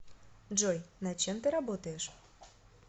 джой над чем ты работаешь